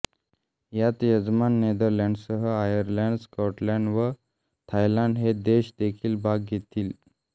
यात यजमान नेदरलँड्ससह आयर्लंड स्कॉटलंड व थायलंड हे देश देखील भाग घेतील